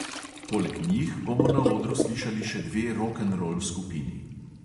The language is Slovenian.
Poleg njih bomo na odru slišali še dve rokenrol skupini.